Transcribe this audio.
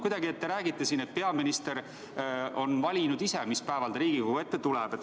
Aga te räägite siin, et peaminister on valinud ise, mis päeval ta Riigikogu ette tuleb.